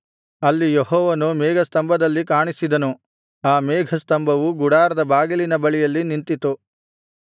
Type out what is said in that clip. ಅಲ್ಲಿ ಯೆಹೋವನು ಮೇಘಸ್ತಂಭದಲ್ಲಿ ಕಾಣಿಸಿದನು ಆ ಮೇಘಸ್ತಂಭವು ಗುಡಾರದ ಬಾಗಿಲಿನ ಬಳಿಯಲ್ಲಿ ನಿಂತಿತು